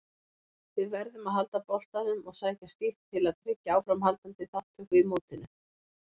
Við verðum að halda boltanum og sækja stíft til að tryggja áframhaldandi þátttöku í mótinu.